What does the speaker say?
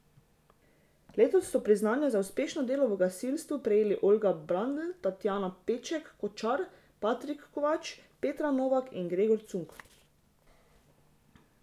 Letos so priznanja za uspešno delo v gasilstvu prejeli Olga Brandl, Tatjana Peček Kočar, Patrik Kovač, Petra Novak in Gregor Cunk.